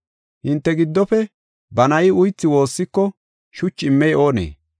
“Hinte giddofe ba na7i uythi woossiko shuchi immey oonee?